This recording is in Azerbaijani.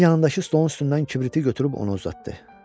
Ginni yanındakı stolun üstündən kibriti götürüb onu uzatdı.